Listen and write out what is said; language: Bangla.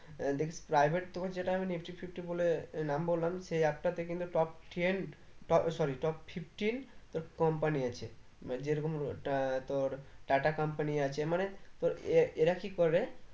আহ দেখিস private তোকে যেটা আমি nifty fifty বলে নাম বললাম সেই app টা তে কিন্তু top ten ট ও sorry top fifteen তোর company আছে মানে যেরকম ওটা তোর টাটা company আছে মানে তোর এরা এরা কি করে